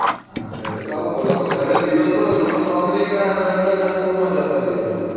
આ ધરે આવું તો પણ તમે ઘરે રહ્યો તો તમે તો america અને london ના tour માં જાતા રહ્યો છો